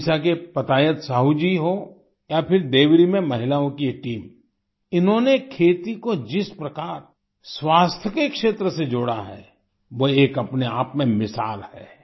ओड़िसा के पतायत साहू जी हों या फिर देवरी में महिलाओं की ये टीम इन्होंने खेती को जिस प्रकार स्वास्थ्य के क्षेत्र से जोड़ा है वो एक अपने आप में एक मिसाल है